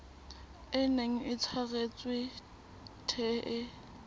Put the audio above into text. e neng e tshwaretswe the